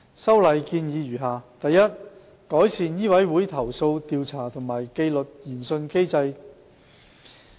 修例建議如下：第一，改善醫委會投訴調查和紀律研訊機制。